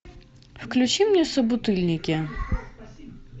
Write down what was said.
включи мне собутыльники